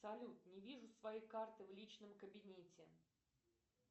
салют не вижу своей карты в личном кабинете